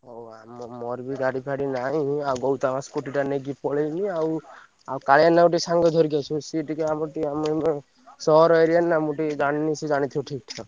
ହଉ ଆମ ମୋର ବି ଗାଡି ଫାଡି ନାଇଁ ଆଉ ବୋଉତ ଆମର Scooty ଟା ନେଇକି ପଳେଇଛି ଆଉ ଆଉ କାଳିଆନା କୁ ଟିକେ ସାଙ୍ଗରେ ଧରିକି ଆସିବ। ସେ ଟିକେ ଆମର ଟିକେ ଆମ ସହର area ନା ମୁଁ ଟିକେ ଜାଣିନି ସେ ଜାଣିଥିବ ଠିକ୍ ।